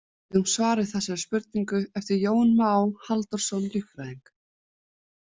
Við eigum svar við þessari spurningu eftir Jón Má Halldórsson líffræðing.